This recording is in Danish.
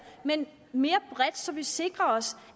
men mere bredt så vi sikrer os